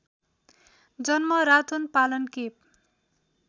जन्म रातोनपालन केप